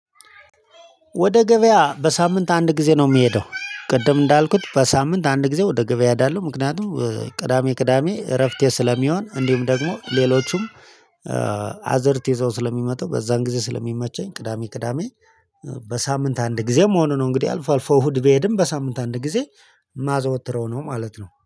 ወደ ገበያ በሳምንት አንድ ጊዜ ነው የምሄደው ቅድም እንዳልኩት በሳምንት አንድ ጊዜ ወደ ገበያ እሄዳለሁ። ምክንያቱም ቅዳሜ፣ ቅዳሜ እረፍቴ ስለሚሆን እንዲሁም ደግሞ ሌሎቹም አዘርት ይዘው ስለሚመጡ በዛን ጊዜ ስለሚመቸኝ። ቅዳሜ፣ ቅዳሜ በሳምንት አንድ ጊዜም ሆኖ ነው እንግዲህ አልፎ፣ አልፎ እሁድ ቢሄድም በሳምንት አንድ ጊዜ። ማዘወትረው ነው ማለት ነው